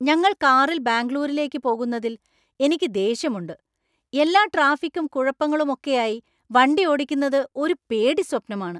ഞങ്ങൾ കാറിൽ ബാംഗ്ലൂരിലേക്ക് പോകുന്നതിൽ എനിക്ക് ദേഷ്യമുണ്ട്. എല്ലാ ട്രാഫിക്കും കുഴപ്പങ്ങളുമൊക്കെയായി വണ്ടി ഓടിക്കുന്നത് ഒരു പേടിസ്വപ്നമാണ്!